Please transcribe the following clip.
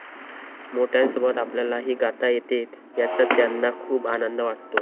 मोठ्यांसोबत आपल्यालाही गाता येते याचा त्यांना खूप आनंद वाटतो.